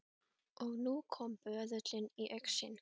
Og nú kom böðullinn í augsýn.